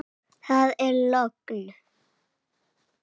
Það er logn.